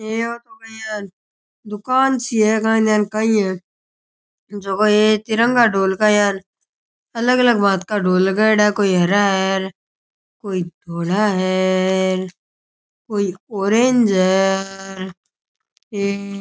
ईया तो काई यान दुकान सी है काई ध्यान काई है जको हे तिरंगा ढोल का यान अलग अलग भात का ढोल लगायोडा कोई हरा है कोई धोला है कोई ऑरेंज है।